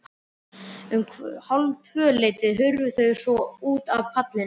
Um hálftvöleytið hurfu þau svo út af ballinu.